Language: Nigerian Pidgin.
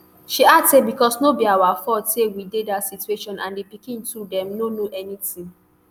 she add say becos no be our fault say we dey dat situation and di pikin too dem no know anytin